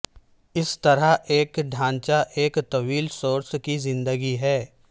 اس طرح ایک ڈھانچہ ایک طویل سروس کی زندگی ہے